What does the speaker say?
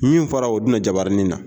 Min fɔra o jabaranin na